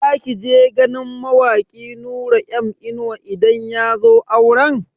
Za ki je ganin mawaki Nura M inuwa idan yazo auren?